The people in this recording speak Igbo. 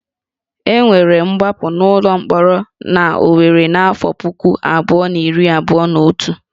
E nwere ngbapụ n'ụlọ mkpọrọ n'Owerri n'afọ puku abụọ na iri abụọ na otu